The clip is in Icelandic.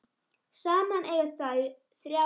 Saman eiga þau þrjár dætur.